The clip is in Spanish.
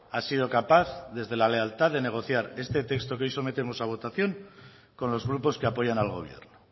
ha sido capaz desde la lealtad de negociar este texto que hoy sometemos a votación con los grupos que apoyan al gobierno